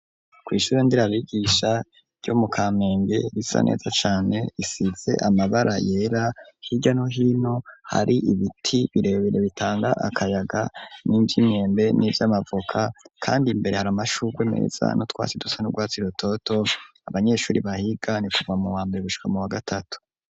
Kw'ishure nderabigisha ryo mu Kamenge, risa neza cane risize amabara yera, hirya no hino hari ibiti birebebire bitanga akayaga, n'ivy'imyembe n'ivy'amavoka, kandi imbere hari amashurwe meza n'utwasi dusa n'urwatsi rutoto, abanyeshuri bahiga ni kuva mu wambere gushika mu wa gatatu.